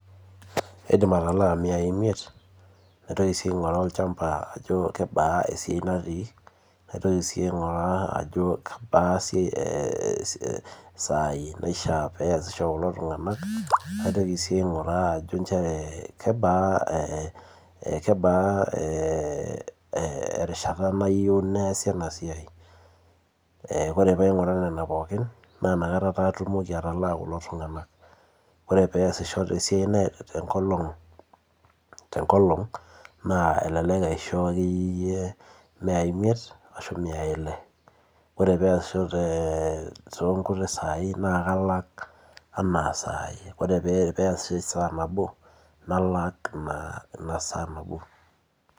kadim atalaa imiyai imiet naitoki sii angoru olchamba ajo kanyioo natii naitoki sii ainguraa ajo kebaa isai nasisho kulo tunganak, naitoki sii angura ajo kebaa erishata nayieu neesi ena siiai ore pee aing'uraa nena pooki naa inakata atumoki atalaa kulo tunganak, ore pee esisho tenkolong eleklek asho imiyai imiet ore pee esisho saii nalak enaa sai ore pee esisho esaa nabo nalak esaa nabo.